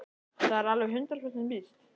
Er það alveg hundrað prósent víst?